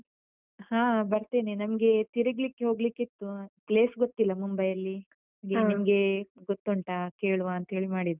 ಹ. ಬರ್ತೇನೆ. ನಮ್ಗೆ ತಿರುಗ್ಲಿಕ್ಕೆ ಹೋಗ್ಲಿಕ್ಕಿತ್ತು. place ಗೊತ್ತಿಲ್ಲ ಮುಂಬೈಯಲ್ಲಿ. ನಿಮ್ಗೆ ಗೊತ್ತುಂಟ ಕೇಳುವಾ ಅಂತೇಳಿ ಮಾಡಿದ್ದು.